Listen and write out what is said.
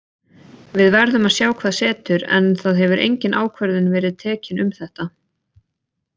Við verðum að sjá hvað setur en það hefur engin ákvörðun verið tekin um þetta.